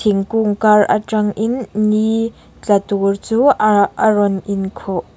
ingkung kar aṭang in ni tla tur chu a a rawn in khuh.